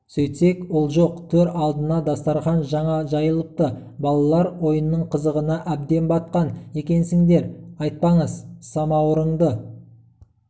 сөйтсек ол жоқ төр алдына дастарқан жаңа жайылыпты балалар ойынның қызығына әбден батқан екенсіңдер айтпаңыз самауырынды